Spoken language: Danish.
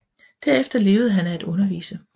Derefter levede han af at undervise